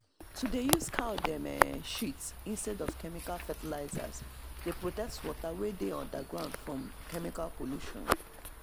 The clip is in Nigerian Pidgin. to dey use cow um dem shit instead of chemical fertilizers dey protect water wey dey underground from chemical pollution